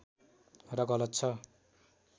र गलत छ